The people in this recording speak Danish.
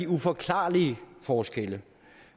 uforklarlige forskelle